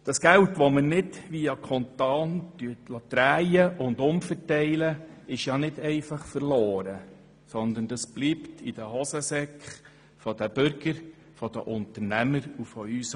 Das Geld, welches wir nicht via Kanton umverteilen, ist nicht einfach verloren, sondern bleibt in den Hosentaschen der Bürger und der Unternehmer.